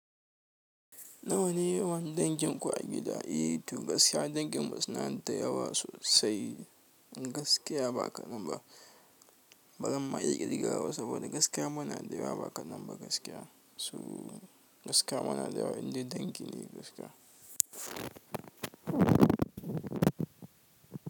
Nawa ne yawan dangin ku a gida? I, to gaskiya dangin mu suna da yawa sosai. Gaskiya ba ka man ba. Ba zan ma iya ir gawa ba saboda gaskiya muna da yawa. Ba ka nan ba gaskiya. So gaskiya muna da yawa, indai dangi ne gaskiya.